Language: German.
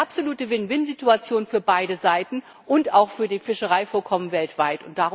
Eine absolute Win Win Situation für beide Seiten und auch für die Fischereivorkommen weltweit.